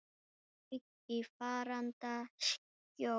Fauk í faranda skjól.